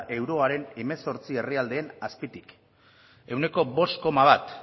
euroaren hemezortzi herrialdeen azpitik ehuneko bost koma bat